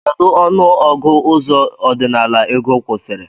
Kedu ọnụ ọgụ ụzọ ọdinala ego kwụsiri?